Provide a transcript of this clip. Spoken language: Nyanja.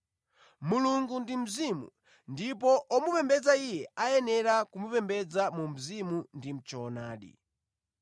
Mulungu ndi Mzimu, ndipo omupembedza Iye ayenera kumupembedza mu mzimu ndi mʼchoonadi.”